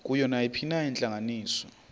kuyo nayiphina intlanganiso